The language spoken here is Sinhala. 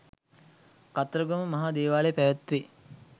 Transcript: කතරගම මහා දේවාලයේ පැවැත්වේ.